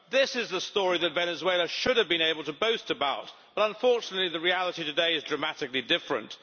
This is the story that Venezuela should have been able to boast about, but unfortunately the reality today is dramatically different.